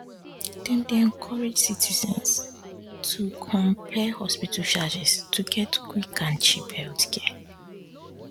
dem dey encourage citizens to compare hospital charges to get quick and cheap healthcare